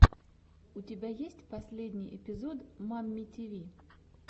у тебя есть последний эпизод мамми тиви